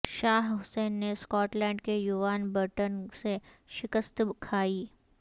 شاہ حسین نے Scotland کے Euan Burton سے شکست کھائی